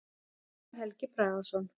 Sævar Helgi Bragason.